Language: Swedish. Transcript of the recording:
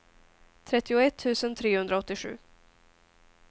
trettioett tusen trehundraåttiosju